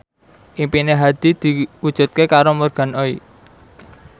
impine Hadi diwujudke karo Morgan Oey